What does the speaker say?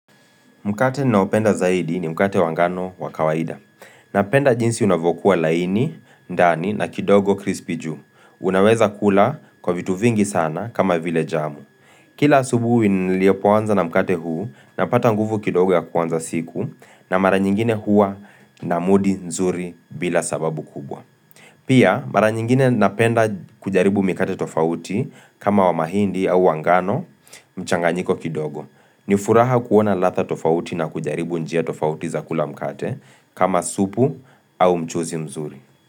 Mkate ninaopenda zaidi ni mkate wa ngano wa kawaida. Napenda jinsi unavyokuwa laini, ndani na kidogo krispi juu. Unaweza kula kwa vitu vingi sana kama vile jamu. Kila asubuhi nilipoanza na mkate huu, napata nguvu kidogo ya kuanza siku na mara nyingine hua na mudi nzuri bila sababu kubwa. Pia, mara nyingine napenda kujaribu mikate tofauti kama wa mahindi au wa ngano mchanganyiko kidogo. Nifuraha kuona ladhaa tofauti na kujaribu njia tofauti za kula mkate kama supu au mchuuzi mzuri.